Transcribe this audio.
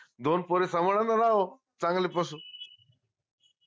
दोन पोर समाधान चांगलं